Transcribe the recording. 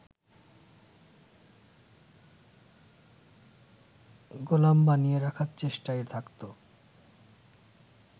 গোলাম বানিয়ে রাখার চেষ্টায় থাকত